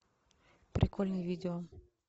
прикольные видео